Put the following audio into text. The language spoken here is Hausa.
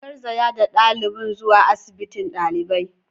An garzaya da dalibin zuwa asibiti dalibai.